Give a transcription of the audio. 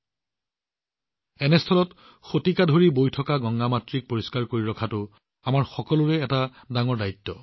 ইয়াৰ মাজতে বহু শতাব্দী ধৰি প্ৰবাহিত হৈ থকা মাতৃ গংগাক পৰিষ্কাৰ কৰি ৰখাটো আমাৰ সকলোৰে বাবে এক ডাঙৰ দায়িত্ব